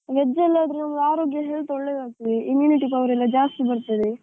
Veg ಅಲ್ಲಿ ಆದ್ರೆ ಆರೋಗ್ಯ health ಎಲ್ಲಾ ಒಳ್ಳೆದಾಗ್ತದೆ, immunity power ಎಲ್ಲಾ ಜಾಸ್ತಿ ಬರ್ತದೆ.